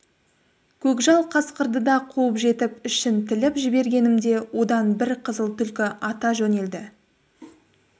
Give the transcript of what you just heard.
көкжал қасқырды да қуып жетіп ішін тіліп жібергенімде одан бір қызыл түлкі ата жөнелді